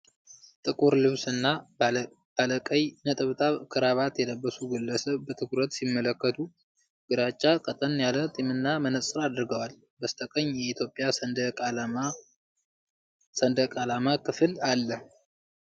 ጥቁር ልብስና ባለቀይ ነጠብጣብ ክራባት የለበሱ ግለሰብ በትኩረት ሲመለከቱ። ግራጫ ቀጠን ያለ ጢምና መነጽር አድርገዋል። በስተቀኝ የኢትዮጵያ ሰንደቅ ዓላማ ክፍል አለ።